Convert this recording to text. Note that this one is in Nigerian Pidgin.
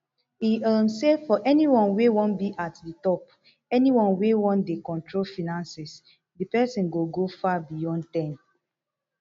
e um say for anyone wey wan be at di top anyone wey wan dey control finances di pesin go go far beyond ten